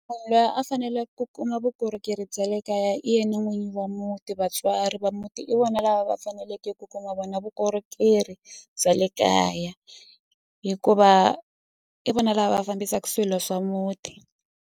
Munhu luya a fanele ku kuma vukorhokeri bya le kaya i yena n'winyi wa muti vatswari va muti i vona lava va faneleke ku kuma vona vukorhokeri bya le kaya hikuva i vona lava fambisaku swilo swa muti.